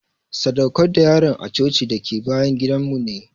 sadaukar da yaron a coci dake bayan gidan mu ne.